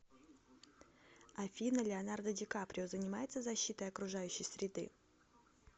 афина леонардо ди каприо занимается защитой окружающей среды